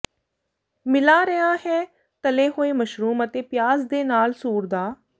ਮਿਲਾ ਰਿਹਾ ਹੈ ਤਲੇ ਹੋਏ ਮਸ਼ਰੂਮ ਅਤੇ ਪਿਆਜ਼ ਦੇ ਨਾਲ ਸੂਰ ਦਾ